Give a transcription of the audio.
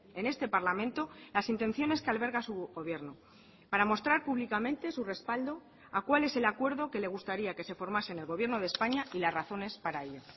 en este parlamento las intenciones que alberga su gobierno para mostrar públicamente su respaldo a cuál es el acuerdo que le gustaría que se formase en el gobierno de españa y las razones para ello